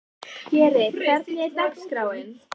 Geri, hvernig er dagskráin?